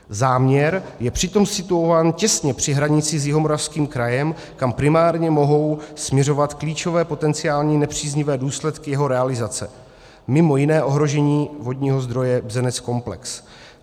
Záměr je přitom situován těsně při hranici s Jihomoravským krajem, kam primárně mohou směřovat klíčové potenciální nepříznivé důsledky jeho realizace, mimo jiné ohrožení vodního zdroje Bzenec-komplex.